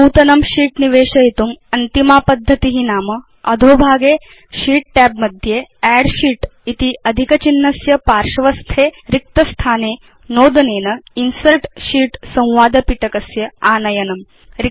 नूतनं शीत् निवेशयितुम् अन्तिमा पद्धति नाम अधोभागे शीत् tab मध्ये अद्द् शीत् इति अधिक चिह्नस्य पार्श्वस्थे रिक्तस्थाने नोदनेन इन्सर्ट् शीत् संवाद पिटकस्य आनयनम्